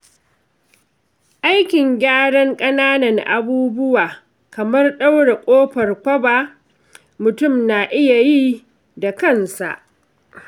Aikin gyaran ƙananan abubuwa kamar ɗaure ƙofar kwaba mutum na iya yi da kansa.